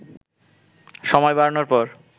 সময় বাড়ানোর পর